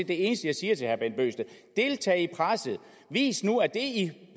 det eneste jeg siger til herre bent bøgsted deltag i presset vis nu at det